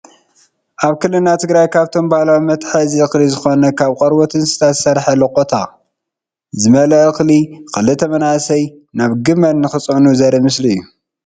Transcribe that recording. ኣብ ክልልና ትግራይ ካብቶም ባህላዊ መትሓዚ እክሊ ዝኮነ ካብ ቀርቦት እንስሳ ዝስራሕ ሎቆታ ዝመል አ እኽሊ ክልተ መናእሰይ ናብ ግመል ንክፅዕኑ ዘር ኢ ምስሊ እዩ::